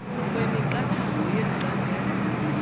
kwemiqathango yeli candelo